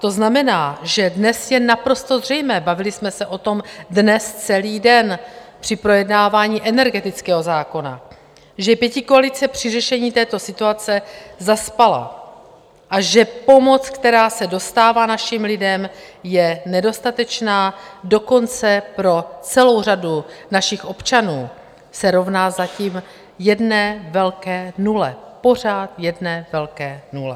To znamená, že dnes je naprosto zřejmé - bavili jsme se o tom dnes celý den při projednávání energetického zákona - že pětikoalice při řešení této situace zaspala a že pomoc, která se dostává našim lidem, je nedostatečná, dokonce pro celou řadu našich občanů se rovná zatím jedné velké nule, pořád jedné velké nule.